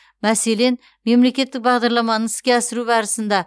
мәселен мемлекеттік бағдарламаны іске асыру барысында